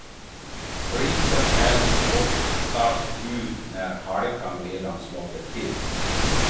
Flisen hälls oftast ut när halkan redan slagit till.